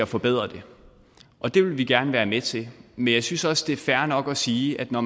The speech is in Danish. forbedring og det vil vi gerne være med til men jeg synes også det er fair nok at sige at når